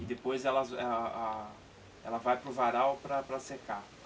e depois ela vai para o varal para secar.